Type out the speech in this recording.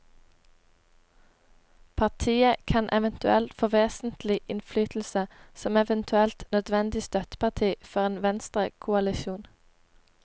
Partiet kan eventuelt få vesentlig innflytelse som eventuelt nødvendig støtteparti for en venstrekoalisjon.